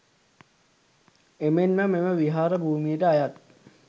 එමෙන්ම මෙම විහාර භූමියට අයත්